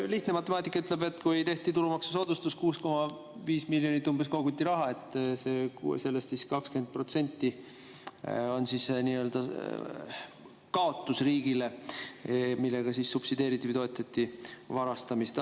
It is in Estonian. Lihtne matemaatika ütleb, et kui 6,5 miljonit koguti ja tehti tulumaksusoodustus, siis sellest summast 20% on kaotus riigile, millega subsideeriti või toetati varastamist.